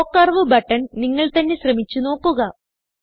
show curve button നിങ്ങൾ തന്നെ ശ്രമിച്ച് നോക്കുക